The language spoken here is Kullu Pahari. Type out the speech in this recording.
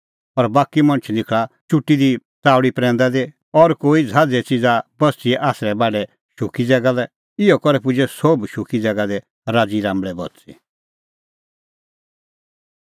और बाकी मणछ निखल़ा चुटी दी च़ाऊल़ी प्रैंदै दी और कोई ज़हाज़े च़िज़ा बस्तिए आसरै बाढै शुक्की ज़ैगा लै इहअ करै पुजै सोभ शुक्की ज़ैगा दी राज़ी राम्बल़ै बच़ी